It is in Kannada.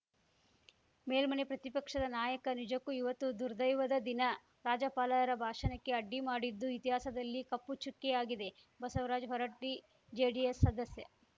ಮೇಲ್ಮನೆ ಪ್ರತಿಪಕ್ಷದ ನಾಯಕ ನಿಜಕ್ಕೂ ಇವತ್ತು ದುರ್ದೈವದ ದಿನ ರಾಜ್ಯಪಾಲರ ಭಾಷಣಕ್ಕೆ ಅಡ್ಡಿ ಮಾಡಿದ್ದು ಇತಿಹಾಸದಲ್ಲಿ ಕಪ್ಪು ಚುಕ್ಕೆಯಾಗಿದೆ ಬಸವರಾಜ್ ಹೊರಟ್ಟಿ ಜೆಡಿಎಸ್‌ ಸದಸ್ಯ